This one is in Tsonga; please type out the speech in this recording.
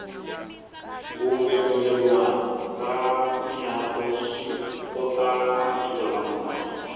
ku ngeteleriwa ka miako swikoka matiko lam nwana